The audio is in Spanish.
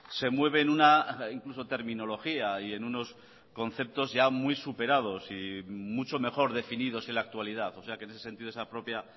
se mueve en una incluso terminología y en unos conceptos ya muy superados y mucho mejor definidos en la actualidad o sea que en ese sentido esa propia